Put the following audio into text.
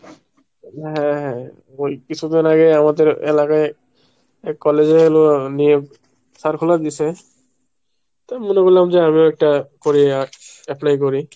হ্যাঁ হ্যাঁ ঐ কিছুদিন আগে আমাদের এলাকায় এক কলেজে হলো নিয়োগ circular দিসে, তো মনে করলাম যে আমিও একটা করে apply করি।